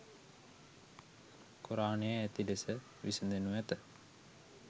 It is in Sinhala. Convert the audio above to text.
කොරානයේ ඇති ලෙස විසදෙනු ඇත.